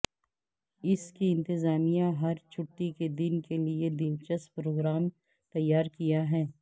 اس کی انتظامیہ ہر چھٹی کے دن کے لئے دلچسپ پروگرام تیار کیا ہے